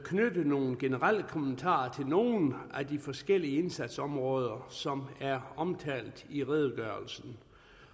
knytte nogle generelle kommentarer til nogle af de forskellige indsatsområder som er omtalt i redegørelsen